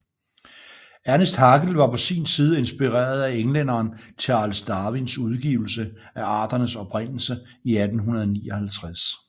Ernst Haeckel var på sin side inspireret af englænderen Charles Darwins udgivelse af Arternes Oprindelse i 1859